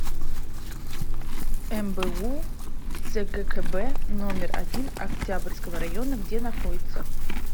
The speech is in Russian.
мбу цгкб номер один октябрьского района где находится